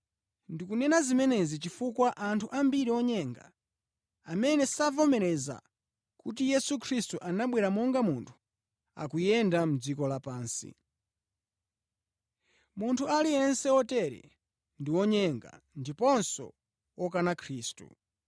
Ndikunena zimenezi chifukwa anthu ambiri onyenga, amene savomereza kuti Yesu Khristu anabwera monga munthu, akuyenda mʼdziko lapansi. Munthu aliyense otere ndi wonyenga ndiponso wokana Khristu.